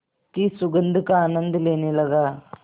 की सुगंध का आनंद लेने लगा